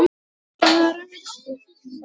til að rækta andann